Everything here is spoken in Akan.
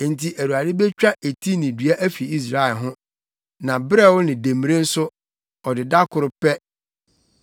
Enti Awurade betwa eti ne dua afi Israel ho na berɛw ne demmire nso, ɔde da koro pɛ;